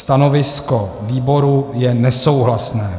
Stanovisko výboru je nesouhlasné.